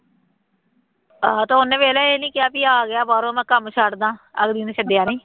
ਆਹੋ ਅਤੇ ਉਹਨੇ ਵੇਖ ਲਾ ਇਹ ਨਹੀਂ ਕਿਹਾ ਬਈ ਆ ਗਿਆ ਬਾਹਰੋਂ ਮੈਂ ਕੰਮ ਛੱਡ ਦਿਆਂ ਅਗਲੀ ਨੇ ਛੱਡਿਆ ਨਹੀਂ